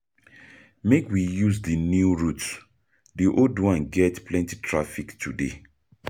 Make we use di new route; di old one get plenty traffic today.